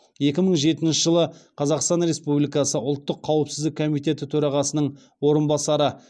екі мың жетінші жылы қазақстан республикасы ұлттық қауіпсіздік комитеті төрағасының орынбасары